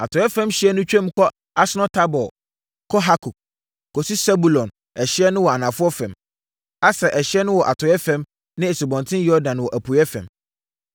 Atɔeɛ fam ɛhyeɛ no twam wɔ Asnot-Tabor kɔ Hukok, kɔsi Sebulon ɛhyeɛ no wɔ anafoɔ fam, Aser ɛhyeɛ wɔ atɔeɛ fam ne Asubɔnten Yordan wɔ apueeɛ fam.